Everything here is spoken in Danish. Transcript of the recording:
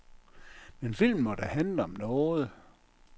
Men filmen må da handle om noget?